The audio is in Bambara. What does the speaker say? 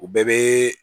U bɛɛ bɛ